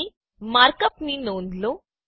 અહીં માર્ક અપની નોંધ લો